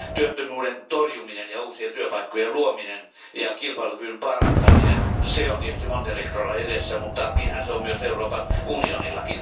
Työttömyyden torjuminen, uusien työpaikkojen luominen ja kilpailukyvyn parantaminen, ne ovat tietysti Montenegrolla edessä, mutta niin ne ovat myös Euroopan unionilla.